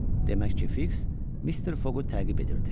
Demək ki, Fiks Mister Foqu təqib edirdi.